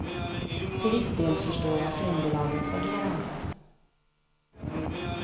Till viss del förstår jag filmbolagens agerande.